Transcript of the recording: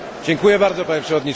Panie Przewodniczący!